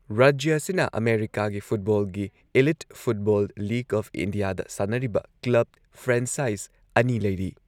ꯔꯥꯖ꯭ꯌ ꯑꯁꯤꯅ ꯑꯃꯦꯔꯤꯀꯥꯒꯤ ꯐꯨꯠꯕꯣꯜꯒꯤ ꯏꯂꯤꯠ ꯐꯨꯠꯕꯣꯜ ꯂꯤꯒ ꯑꯣꯐ ꯏꯟꯗꯤꯌꯥꯗ ꯁꯥꯟꯅꯔꯤꯕ ꯀ꯭ꯂꯕ ꯐ꯭ꯔꯥꯟꯆꯥꯏꯖ ꯑꯅꯤ ꯂꯩꯔꯤ꯫